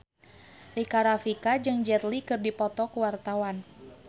Rika Rafika jeung Jet Li keur dipoto ku wartawan